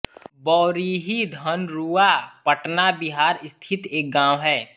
बौरीही धनरूआ पटना बिहार स्थित एक गाँव है